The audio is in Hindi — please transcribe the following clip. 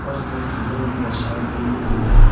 उसमें फुले भी दर्शाए दी गई हैं।